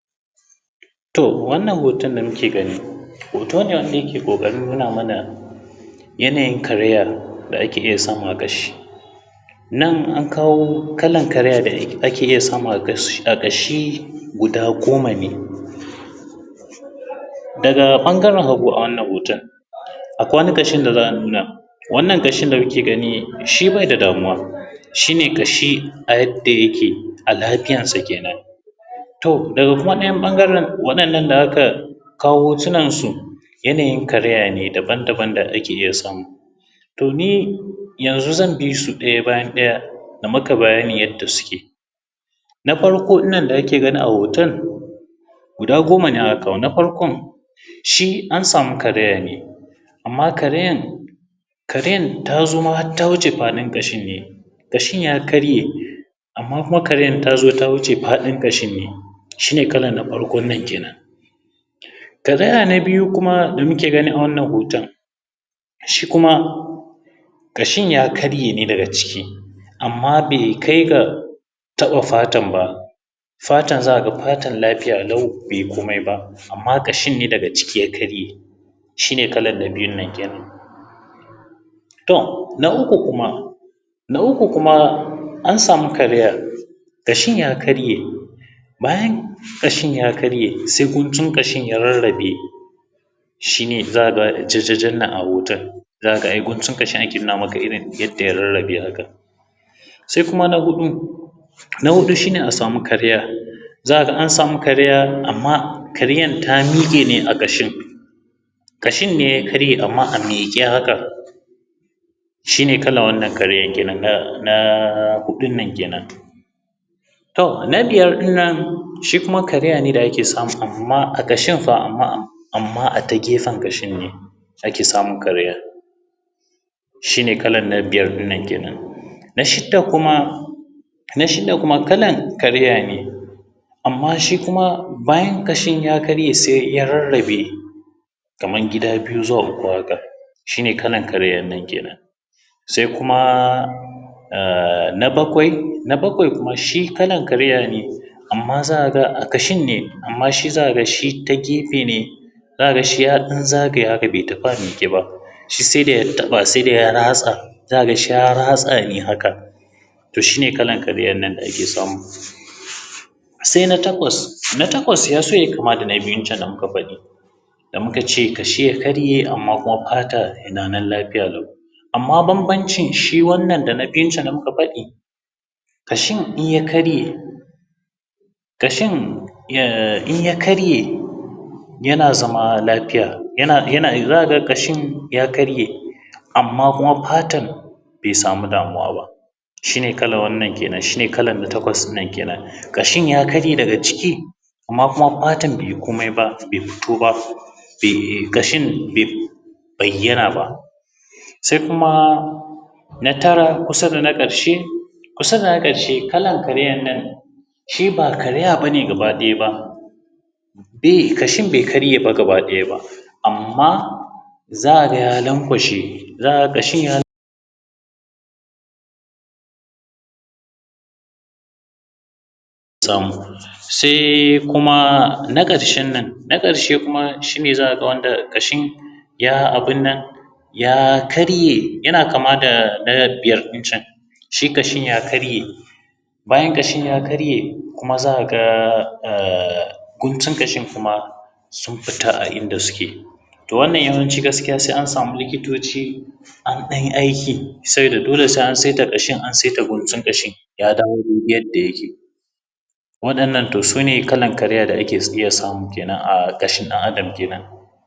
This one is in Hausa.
To wannan hotan da muke gani hoto ne wanda yake ƙoƙarin nuna mana yanayin karaya da ake iya samu a ƙashi, nan an kawo aƙala karaya da ake iya samu a ƙashi guda goma ne daga ɓangaren hagu. A wannan hotan akwai wani a ƙashin da za a nuna wannan ƙashin da muke gani shi bai da damuwa shi ne ƙashi a yadda yake a lafiyarsa kenan to daga ɗayan ɓangaren waɗannan da aka kawo hotunansu yanayin karayen ne daban-daban da ake iya samu. To, ni yanzun zan bi su ɗaya bayan ɗaya na maka bayanin yanda suke na farko ɗin nan da ake gani a hotan guda goma ne aka kawo na farkon shi an samu karaye ne amma karayar ta zo ma har ta wuce faɗin ƙashin ne, ƙashin ya karye amma kuma karayan ta zo ta wuce faɗin ƙashin ne, shi ne karaya na farkon nan kenan. Karaya na biyu kuma da muke gani a wannan hotan shi kuma ƙashin ya karye ne daga ciki amma bai kai ga taɓa fatar ba, fatar za ka ga fatar lafiya lau bai yi komai ba, amma kashin ne daga ciki ya karye shi ne kalan na biyun nan kenan. To, na uku kuma an samu karayar ƙashin ya karye, bayan ƙashin ya karye sai guntun ƙashin ya rarrabe shi ne za ka ga jajjajan nan a hotan, za ka ga ai guntun ƙashi ake nuna maka irin yanda ya rarrabe haka sai kuma na huɗu shi ne a samu karaya za ka ga an samu karaya amma karayar ta mike ne a ƙashin, ƙashi ne ya karye amma a miƙe haka shi ne kalan wannan karayan kenan na huɗun nan kenan. To, na biyar ɗin nan shi kuma karaya ne da ake samu amma a ƙashin fa amma a tagefen ƙashin ne ake samun karayar shi ne kalan na biyar ɗin nan kenan, na shida kuma kalan karaya ne amma shi kuma bayan ƙashin ya karye sai ya rarrabe kaman gida biyu zuwa uku haka shi ne kalan karayar nan kenan sai kuma na bakawai. Na bakwai kuma shi kalan karaya ne amma za ka ga a ƙashin ne amma za ka ga shi ta gefe ne za ka ga shi ya ɗan zagaya haka bai tafi a miƙe ba shi sai dai ya taɓa sai dai ya ratsa za ka ga shi ya ratsa ne haka to shi ne kalan karayan nan da ake samu. Sai na takwas, na takwas ya so yai kama da na biyun can da muka faɗi da muka ce ƙashi ya karye amma kuma fata na nan lafiya lau amma banbancin shi wannan da na biyun can da muka faɗi ƙashin in ya karye yana zama lafiya yana za ka ga ƙashin ya karye amma kuma fatar bai samu damuwa ba, shi ne kalan wananan kenan shi kalan na takwas kenan ƙashin ya karye daga ciki amma kuma fatan bai yi komai ba bai fito ba sai ƙashin bai bayyana ba, sai kuma na tara kusa da na ƙarshe kusa da na ƙarshe kalan karayan nan shi ba karaya ba ne gabaɗaya ba eh ƙashin bai karye ba gabaɗaya amma za ka ga ya lankwashe ya tom sai kuma na ƙarshen nan na ƙarshe kuma za ka ga ƙashin ya abun nan ya kama da na biyar ɗin can shi ƙashin ya karye bayan ƙashin ya karye kuma za ka ga guntun ƙashin kuma sun fita a inda suke. To, wannan yawanci gaskiya sai an samu likitoci an ɗanyi aiki saboda dole sai an saita ƙashin an saita guntun ƙashin ya dawo gurin yanda yake waɗannan su ne irin karaya da ake iya samu a ƙashin ɗan’Adam kenan.